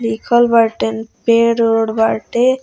लिखल बाटेन पेड़-उड़ बाटे।